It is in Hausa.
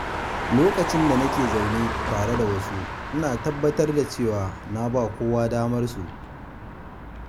Lokacin da nake zaune tare da wasu, ina tabbatar da cewa na ba kowa damar kansu.